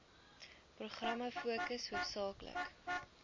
programme fokus hoofsaaklik